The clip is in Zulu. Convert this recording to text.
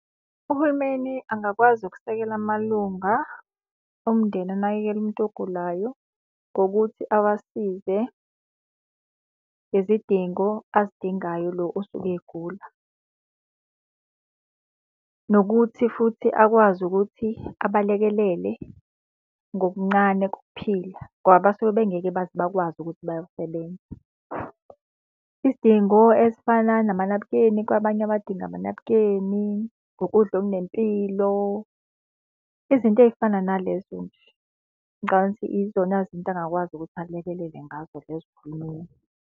Uhulumeni angakwazi ukusekela amalunga omndeni anakekela umuntu ogulayo ngokuthi awasize ngezidingo azidingayo lo osuke egula. Nokuthi futhi akwazi ukuthi abalekelele ngokuncane kokuphila ngoba basuke bengeke baze bakwazi ukuthi bayosebenza. Izidingo ezifana namanabukeni kwabanye abadinga amanabukeni, ukudla okunempilo, izinto ey'fana nalezo nje. Ngicabanga ukuthi izona izinto angakwazi ukuthi alekelele ngazo lezo uhulumeni.